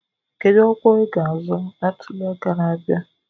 Kedu ọkwa i ga azọ na ntuli aka na-abịa?